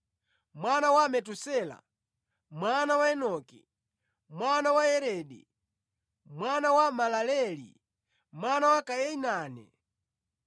mwana wa Metusela, mwana wa Enoki, mwana wa Yaredi mwana wa Malaleeli, mwana wa Kainane,